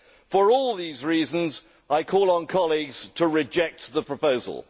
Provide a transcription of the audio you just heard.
For all these reasons I call on colleagues to reject the proposal.